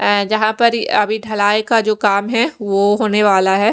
अ जहाँ पर अभी ढलाई का जो काम है वो होने वाला है।